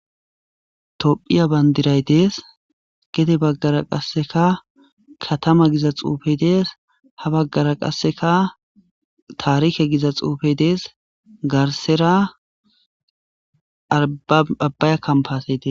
ophiya bayndiray dees gede baggara qasseka katama giza xuufe dees ha baggara qasseka taarihe giza xuufe dees garsera abbaya kampase des